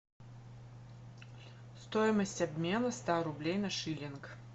стоимость обмена ста рублей на шиллинг